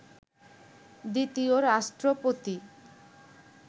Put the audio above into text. দ্বিতীয় রাষ্ট্রপতি